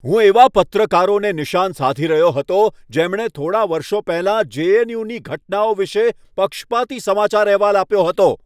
હું એવા પત્રકારોને નિશાન સાધી રહ્યો હતો જેમણે થોડા વર્ષો પહેલા જે.એન.યુ.ની ઘટનાઓ વિશે પક્ષપાતી સમાચાર અહેવાલ આપ્યો હતો.